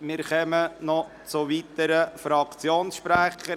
Wir kommen nun noch zu weiteren Fraktionssprechern.